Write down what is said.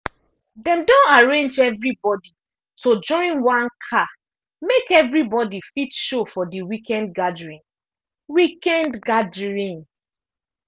dem don arrange everybody to join one car make everybody fit show for the weekend gathering. weekend gathering.